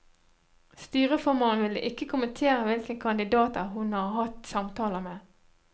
Styreformannen ville ikke kommentere hvilke kandidater hun har hatt samtaler med.